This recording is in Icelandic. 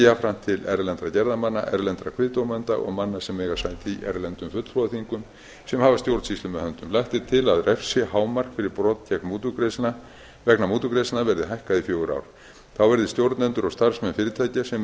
jafnframt til erlendra gerðarmanna erlendra kviðdómenda og manna sem eiga sæti í erlendum fulltrúaþingum sem hafa stjórnsýslu með höndum lagt er til að refsihámark fyrir brot vegna mútugreiðslna verði hækkað í fjögur ár þá verði stjórnendur og starfsmenn fyrirtækja sem